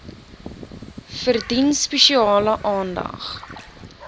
verdien spesiale aandag